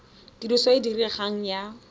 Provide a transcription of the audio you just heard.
tiriso e e diregang ya